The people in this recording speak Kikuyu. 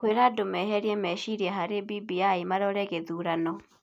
kwĩra andũ meherie meciria harĩ BBI marore gĩthurano.